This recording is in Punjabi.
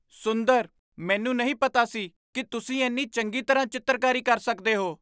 ਸੁੰਦਰ ! ਮੈਨੂੰ ਨਹੀਂ ਪਤਾ ਸੀ ਕਿ ਤੁਸੀਂ ਇੰਨੀ ਚੰਗੀ ਤਰ੍ਹਾਂ ਚਿੱਤਰਕਾਰੀ ਕਰ ਸਕਦੇ ਹੋ!